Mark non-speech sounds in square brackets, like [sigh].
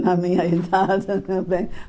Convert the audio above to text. na minha [laughs] idade também.